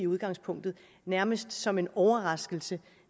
udgangspunkt nærmest som en overraskelse